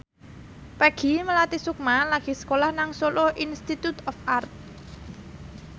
Peggy Melati Sukma lagi sekolah nang Solo Institute of Art